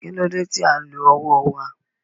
Kí ló dé tí à ń lo ọwọ́ wa?